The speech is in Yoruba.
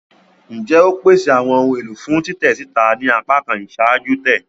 Njẹ o pese awọn ohun elo fun titẹ sita ni apakan iṣaaju-tẹ?